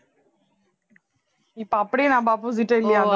இப்ப அப்படியே நம்ம opposite டா இல்லையா